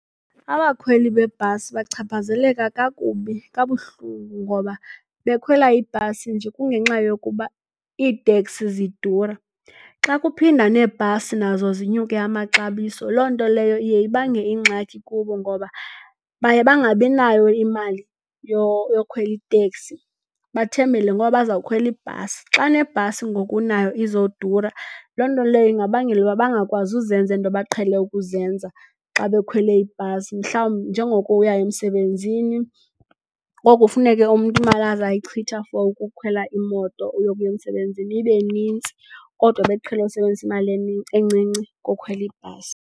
Abakhweli beebhasi bachaphazeleka kakubi kabuhlungu ngoba bekhwela ibhasi nje kungenxa yokuba iiteksi zidura. Xa kuphinda neebhasi nazo zinyuke amaxabiso, loo nto leyo iye ibangele ingxaki kubo ngoba baye bangabi nayo imali yokukhwela iteksi, bathembele ngoba baza kukhwela ibhasi. Xa nebhasi ngoku nayo izodura loo nto leyo ingabangela ukuba bangakwazi uzenza ezi zinto baqhele ukuzenza xa bekhwele ibhasi, njengokuya emsebenzini. Ngoku funeke umntu imali azawuyichitha for ukukhwela imoto yokuya emsebenzini ibe nintsi kodwa beqhele usebenzisa imali encinci ngokhwela ibhasi.